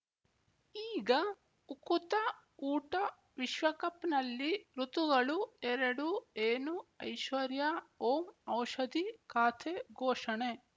ಈಗ ಉಕುತ ಊಟ ವಿಶ್ವಕಪ್‌ನಲ್ಲಿ ಋತುಗಳು ಎರಡು ಏನು ಐಶ್ವರ್ಯಾ ಓಂ ಔಷಧಿ ಖಾತೆ ಘೋಷಣೆ